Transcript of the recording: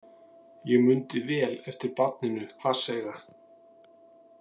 Ég mundi vel eftir barninu hvasseyga.